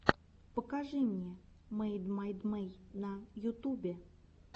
покажи мне мэйдмайдэй на ютубе